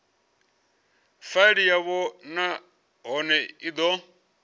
faili yavho nahone i do